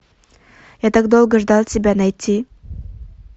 я так долго ждал тебя найти